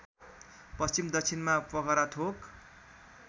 पश्चिम दक्षिणमा पोखराथोक